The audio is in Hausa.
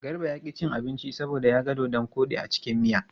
Garba ya ƙi cin abinci saboda ya ga dodon koɗi a cikin miya.